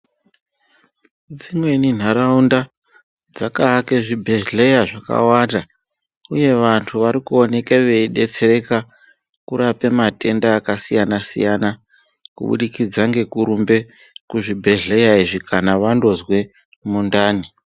Dzimweni nharaunda dzakavake zvibhedhleya zvakawanda, uye vantu varikuoneka veibetsereka kurape matenda akasiyana-siyana, kubudikidze ngekurumbe kuzvibhedhleya izvi kana vandozwe mundani.